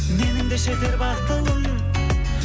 менің де жетер батылым